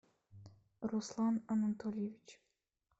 руслан анатольевич